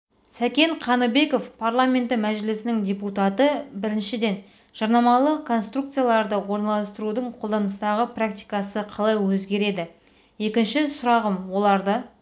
сәкен қаныбеков парламенті мәжілісінің депутаты біріншіден жарнамалық конструкцияларды орналастырудың қолданыстағы практикасы қалай өзгереді екінші сұрағым оларды